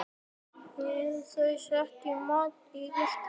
Ég álasa honum ekki.